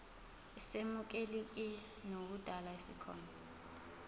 esemukelekile nekudala sikhona